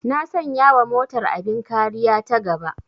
Na sanya wa motar abin kariya ta gaba